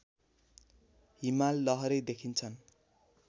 हिमाल लहरै देखिन्छन्